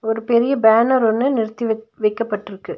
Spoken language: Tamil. ஒரு பெரிய பேனர் ஒன்னு நிறுத்தி விக் வக்கப்பட்டுருக்கு.